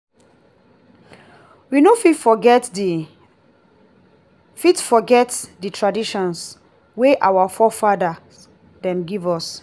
we no fit forget di fit forget di tradition wey our fore-fada dem give us.